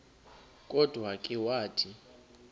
kodwa ke wathi